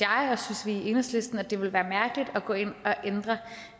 vi i enhedslisten at det ville være mærkeligt at gå ind og ændre